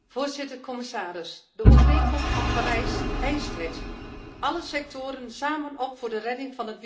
De Overeenkomst van Parijs eist het alle sectoren samen op voor de redding van het wereldwijde klimaat.